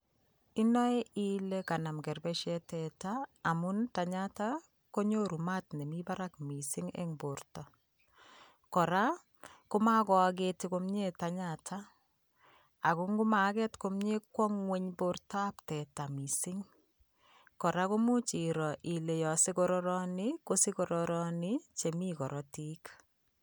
Inoe ilee kanam kerbesiet tetaa amun tanyata konyoru maat nemii barak mising en borto, kora komokoakete komnye tanyata ak ko ng'omaaket komnye kwongweny bortab teta mising, kora koimuch iroo ilee yoon sokororoni ko sokororoni chemii korotik.